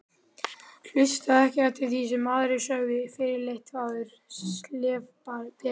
Hlustaði ekki eftir því sem aðrir sögðu, fyrirleit þvaður, slefbera.